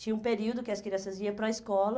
Tinha um período que as crianças iam para a escola.